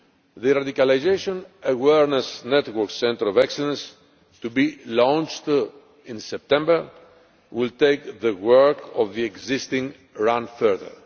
The Radicalisation Awareness Network Centre of Excellence, to be launched in September, will take the work of the existing RAN further.